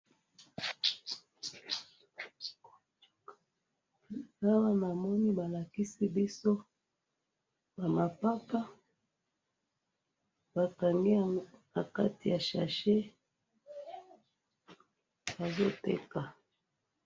Awa namoni balakisi biso ba mapapa ,bakangi yango na kati ya sachet ,bazo teka